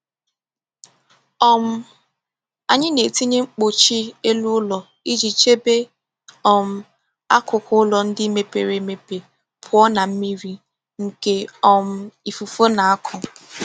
um Anyị na-etinye mkpuchi elu ụlọ iji chebe um akụkụ ụlọ ndị mepere emepe pụọ na mmiri nke um ifufe na-akụ.